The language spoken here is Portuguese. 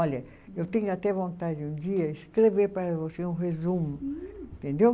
Olha, eu tenho até vontade um dia escrever para você um resumo, entendeu?